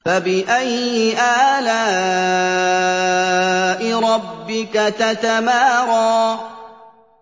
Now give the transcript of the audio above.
فَبِأَيِّ آلَاءِ رَبِّكَ تَتَمَارَىٰ